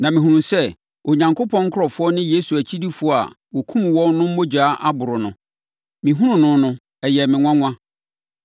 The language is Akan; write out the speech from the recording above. Na mehunuu sɛ Onyankopɔn nkurɔfoɔ ne Yesu akyidifoɔ a wɔkumm wɔn no mogya aboro no. Mehunuu no no, ɛyɛɛ me nwanwa.